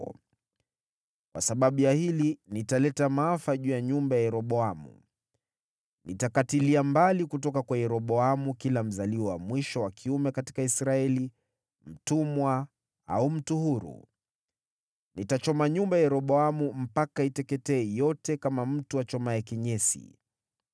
“ ‘Kwa sababu ya hili, nitaleta maafa juu ya nyumba ya Yeroboamu. Nitakatilia mbali kutoka kwa Yeroboamu kila mzaliwa wa mwisho wa kiume katika Israeli, mtumwa au mtu huru. Nitachoma nyumba ya Yeroboamu mpaka iteketee yote kama mtu achomaye kinyesi.